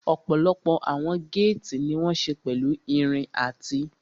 Ọ̀pọ̀lọpọ̀ àwọn géètì ní wọ́n ṣe pẹ̀lú irin àti